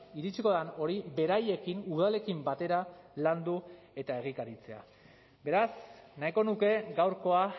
iritsiko den hori beraiekin udalekin batera landu eta egikaritzea beraz nahiko nuke gaurkoa